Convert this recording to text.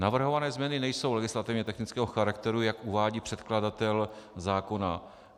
Navrhované změny nejsou legislativně technického charakteru, jak uvádí předkladatel zákona.